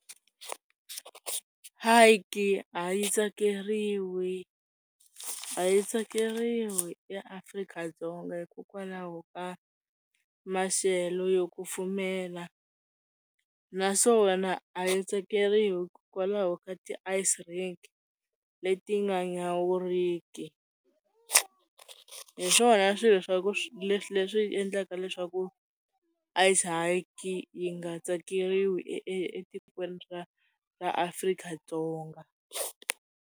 a yi tsakeriwi a yi tsakeriwi eAfrika-Dzonga hikokwalaho ka maxelo yo kufumela naswona a yi tsakeriwi hikokwalaho ka ti leti nga nyawuriki hi swona swilo swa ku leswi endlaka leswaku a ice yi nga tsakeriwi etikweni ra ra Afrika-Dzonga.